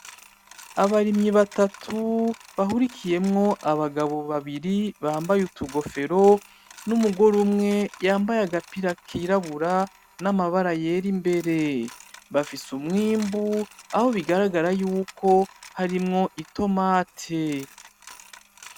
Abarimyi batatu bahurikiyemwo abagabo babiri bambaye utugofero n'umugore umwe yambaye agapira k'irabura n'amabara yera imbere. Bafise umwimbu aho bigaragara y'uko harimwo itomati.